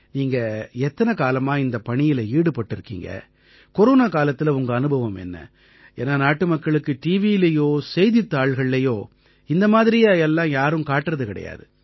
நீங்க எத்தனை காலமா இந்தப் பணியில ஈடுபட்டிருக்கீங்க கொரோனா காலத்தில உங்க அனுபவம் என்ன ஏன்னா நாட்டுமக்களுக்கு டிவியிலயோ செய்தித்தாள்கள்லயோ இந்த மாதிரியா எல்லாம் யாரும் காட்டறது கிடையாது